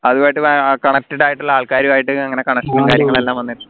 അതുവായിട്ട് അഹ് connected ആയിട്ടുള്ള ആൾക്കാരെവായിട്ട്